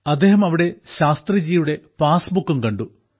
അദ്ദേഹം അവിടെ ശാസ്ത്രിജിയുടെ പാസ്ബുക്കും കണ്ടു